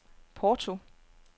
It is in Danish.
Porto